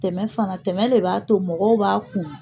Tɛmɛ fana tɛmɛ le b'a to mɔgɔw b'a kun